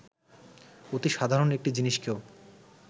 অতি সাধারণ একটি জিনিসকেও